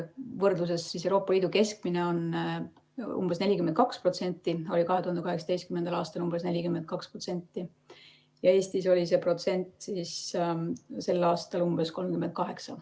Võrdluseks: Euroopa Liidu keskmine on umbes 42%, see oli 2018. aastal umbes 42%, aga Eestis oli see protsent sel aastal umbes 38.